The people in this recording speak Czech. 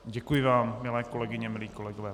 Děkuji vám, milé kolegyně, milí kolegové.